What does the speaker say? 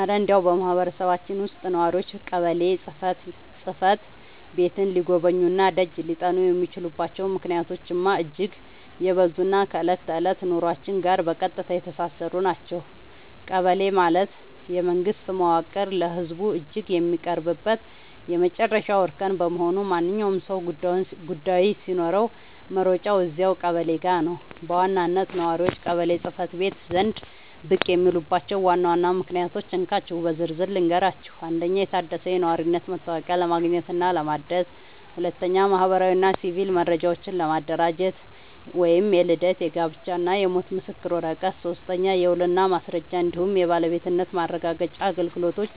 እረ እንደው በማህበረሰባችን ውስጥ ነዋሪዎች ቀበሌ ጽሕፈት ቤትን ሊጎበኙና ደጅ ሊጠኑ የሚችሉባቸው ምክንያቶችማ እጅግ የበዙና ከዕለት ተዕለት ኑሯችን ጋር በቀጥታ የተሳሰሩ ናቸው! ቀበሌ ማለት የመንግስት መዋቅር ለህዝቡ እጅግ የሚቀርብበት የመጨረሻው እርከን በመሆኑ፣ ማንኛውም ሰው ጉዳይ ሲኖረው መሮጫው እዚያው ቀበሌው ጋ ነው። በዋናነት ነዋሪዎች ቀበሌ ጽ/ቤት ዘንድ ብቅ የሚሉባቸውን ዋና ዋና ምክንያቶች እንካችሁ በዝርዝር ልንገራችሁ፦ 1. የታደሰ የነዋሪነት መታወቂያ ለማግኘትና ለማደስ 2. ማህበራዊና ሲቪል መረጃዎችን ለማደራጀት (የልደት፣ የጋብቻና የሞት ምስክር ወረቀት) 3. የውልና ማስረጃ እንዲሁም የባለቤትነት ማረጋገጫ አገልግሎቶች